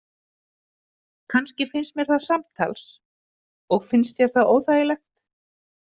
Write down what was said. Kannski finnst mér það samtals Og finnst þér það óþægilegt?